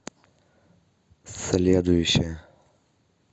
следующая